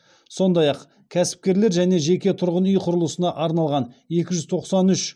сондай ақ кәсіпкерлер және жеке тұрғын үй құрылысына арналған екі жүз тоқсан үш